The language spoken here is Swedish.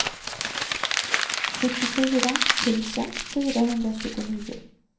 sjuttiofyra tusen fyrahundratjugonio